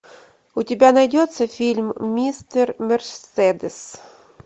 у тебя найдется фильм мистер мерседес